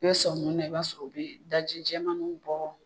I bɛ sɔmi mun na , i b'a sɔrɔ u bɛ daji cɛman bɔ.